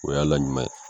O y'a la ɲuman ye